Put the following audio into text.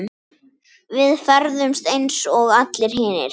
Við ferðumst eins og allir hinir.